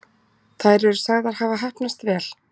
Þær eru sagðar hafa heppnast vel